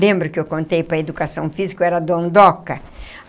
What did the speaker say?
Lembra que eu contei para a Educação Física que eu era dondoca?